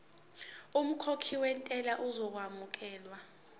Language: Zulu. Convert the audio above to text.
umkhokhi wentela uzokwamukelwa